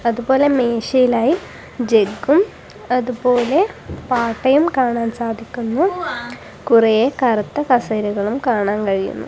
അതുപോലെ മേശയിലായി ജഗും അതുപോലെ പാട്ടയും കാണാൻ സാധിക്കുന്നു കുറേ കറുത്ത കസേരകളും കാണാൻ കഴിയുന്നു.